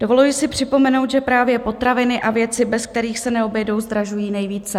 Dovoluji si připomenout, že právě potraviny a věci, bez kterých se neobejdou, zdražují nejvíce.